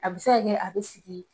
A bɛ se ka kɛ a bɛ sigi